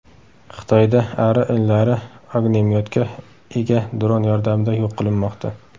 Xitoyda ari inlari ognemyotga ega dron yordamida yo‘q qilinmoqda .